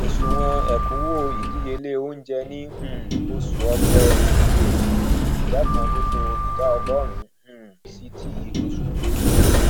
òṣùwọn ekunwo ìdíyelé oúnjẹ ní um ní oṣù ọpẹ èyí ó dín ni ìdá kan nínú ìdá ọgọrun um sí ti oṣù belu